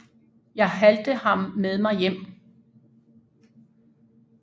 Jeg halte ham med mig hjem